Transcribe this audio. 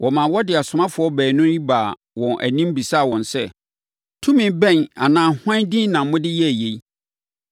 Wɔmaa wɔde asomafoɔ baanu yi baa wɔn anim bisaa wɔn sɛ, “Tumi bɛn anaa hwan din na mode yɛɛ yei?”